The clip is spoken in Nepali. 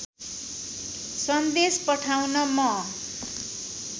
सन्देश पठाउन म